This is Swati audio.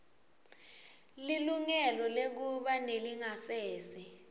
lilungelo lekuba nelingasese